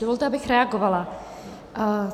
Dovolte, abych reagovala.